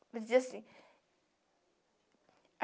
Fazia assim.